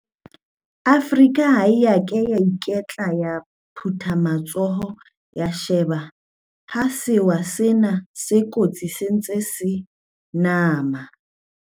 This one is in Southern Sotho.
Afrika ha e a ka ya iketla ya phutha matsoho ya shebella ha sewa sena se kotsi se ntse se nama.